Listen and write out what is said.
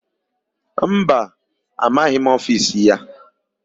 Mba, amaghị m ofisi ya.